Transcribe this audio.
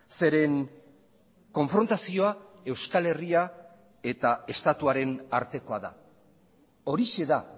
zeren konfrontazioa euskal herria eta estatuaren artekoa da horixe da